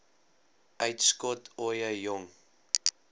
uitskot ooie jong